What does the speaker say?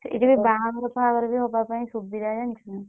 ସେଇଠି ବି ବାହାଘର ଫାହାଘର ହବା ପାଇଁ ସୁବିଧା ଜାଣିଛୁ ନା।